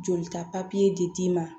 Jolita papiye de t'i ma